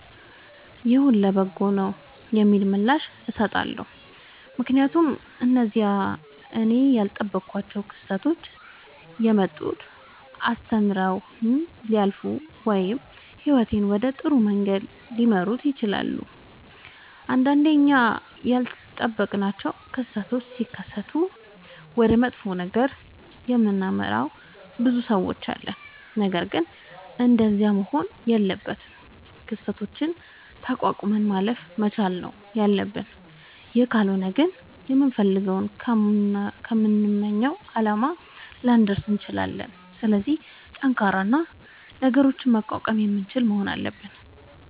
ይሁን ለበጎ ነዉ የሚል ምላሽ እሠጣለሁ። ምክንያቱም እነዚያ እኔ ያልጠበኳቸዉ ክስተቶች የመጡት አስተምረዉኝ ሊያልፉ ወይም ህይወቴን ወደ ጥሩ መንገድ ሊመሩት ይችላሉ። ንዳንዴ እኛ ያልጠበቅናቸዉ ክስተቶች ሢከሠቱ ወደ መጥፎ ነገር የምናመራ ብዙ ሠዎች አለን። ነገርግን እንደዚያ መሆን የለበትም። ክስተቶችን ተቋቁመን ማለፍ መቻል ነዉ ያለብን ይህ ካልሆነ ግን ከምንፈልገዉና ከምንመኘዉ አላማ ላንደርስ እንችላለን። ስለዚህ ጠንካራ እና ነገሮችን መቋቋም የምንችል መሆን አለብን።